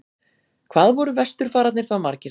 hvað voru vesturfararnir þá margir